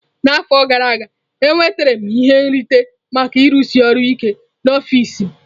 N'afọ gara aga, enwetara m ihe nrite maka ịrụsi ọrụ ike n'ọfịs m.